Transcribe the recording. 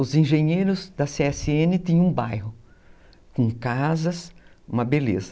Os engenheiros da cê esse ene tinham um bairro, com casas, uma beleza.